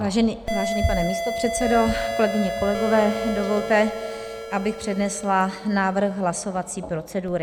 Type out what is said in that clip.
Vážený pane místopředsedo, kolegyně, kolegové, dovolte, abych přednesla návrh hlasovací procedury.